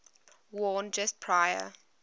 worn just prior